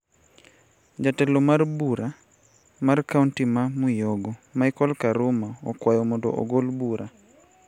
Jatelo mar bura mar kaonti ma Mwiyogo micheal karuma okwayo mondo ogol bura